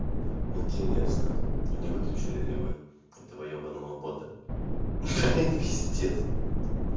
интересно не выключили ли вы этого ебаного бота ха-ха пиздец